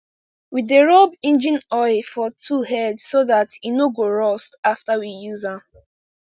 we dey rub engine oil for tool head so dat e no go rust after we use am